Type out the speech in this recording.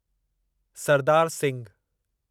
Sardar Singhu